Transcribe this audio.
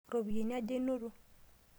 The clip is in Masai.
Ropiyani aja inoto?